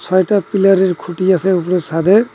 কয়টা পিলার -এর খুঁটি আসে উপরে সাদে।